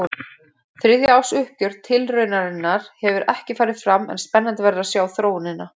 Þriðja árs uppgjör tilraunarinnar hefur ekki farið fram en spennandi verður að sjá þróunina.